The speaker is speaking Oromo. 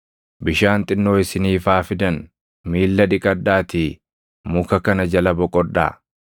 Bishaan xinnoo isiniif haa fidan; miilla dhiqadhaatii muka kana jala boqodhaa.